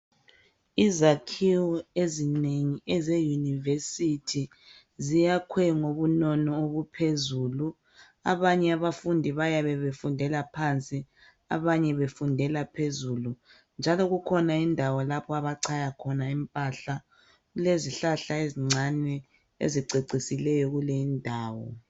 Izakhiwonengi eze yunivesithi ziyakhwe ngobunono obuphezulu abanye abafundi bayabe befundela phansi abanye befundela phezulu njalo kukhona indawo lapho abachaya khona impahla kulezihlahla ezincane ezicecisileyo kuleyi ndawo.